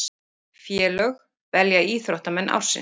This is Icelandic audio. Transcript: Félög velja íþróttamenn ársins